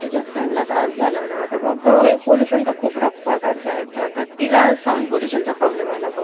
इंग्रजांनं राजसत्तेबरोबरच इथं रुजविलेल्या शिक्षण पदर~ अं तिची मूळ अशी अंकुरी लावली होती. भारताला स्व~ अं सर्वसामान्य माणूस,